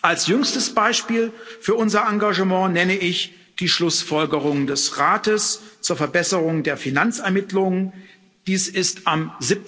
Als jüngstes Beispiel für unser Engagement nenne ich die Schlussfolgerungen des Rates zur Verbesserung der Finanzermittlungen, dies ist am